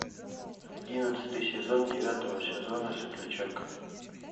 одиннадцатый сезон девятого сезона светлячок